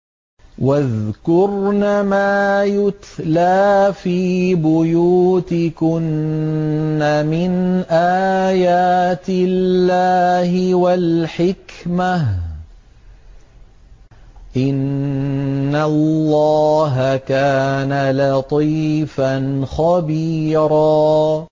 وَاذْكُرْنَ مَا يُتْلَىٰ فِي بُيُوتِكُنَّ مِنْ آيَاتِ اللَّهِ وَالْحِكْمَةِ ۚ إِنَّ اللَّهَ كَانَ لَطِيفًا خَبِيرًا